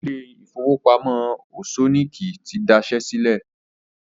Ilé ìfowópamọ́ Òṣọ́níkí ti daṣẹ́ sílẹ̀